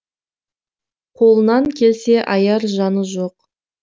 қолынан келсе аяр жаны жоқ